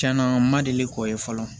Tiɲɛna n ma deli k'o ye fɔlɔ